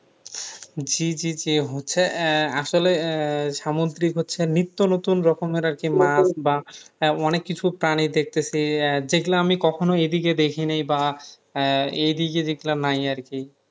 জি জি জি হচ্ছে আহ আসলে আহ সামুদ্রিক হচ্ছে নিত্যনতুন রকমের আর কি মাছ বা আহ অনেক কিছু প্রাণী দেখতেছি আহ যেগুলা আমি কখনো এদিকে দেখিনি বা আহ এইদিকে যেগুলা নাই আর কি